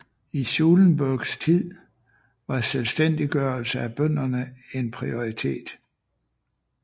I Schulenburgs tid var selvstændiggørelse af bønderne en prioritet